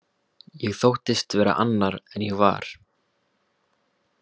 Ég þóttist vera annar en ég var.